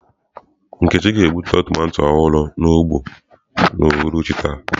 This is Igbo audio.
Nkechi ga-egbute tomato ọhụrụ n'ugbo n'uhuruchi taa.